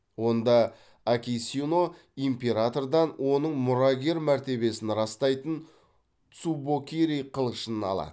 онда акисино императордан оның мұрагер мәртебесін растайтын цубокири қылышын алады